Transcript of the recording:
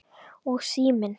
Og síminn.